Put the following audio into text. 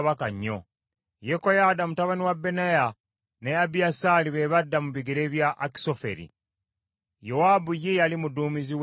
Yekoyaada mutabani wa Benaya ne Abiyasaali be badda mu bigere bya Akisoferi. Yowaabu ye yali muduumizi w’eggye lya kabaka.